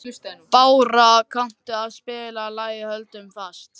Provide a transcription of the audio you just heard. Bára, kanntu að spila lagið „Höldum fast“?